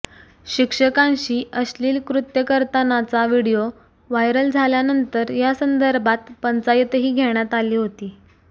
शिक्षिकांशी अश्लील कृत्य करतानाचा व्हिडिओ व्हायरल झाल्यानंतर यासंदर्भात पंचायतही घेण्यात आली होती